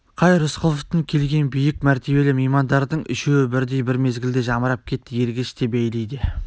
қай рысқұловтың келген биік мәртебелі меймандардың үшеуі бірдей бір мезгілде жамырап кетті ергеш те бейли де